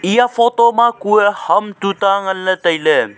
eya photo ma kuye ham chu ta nganle taile.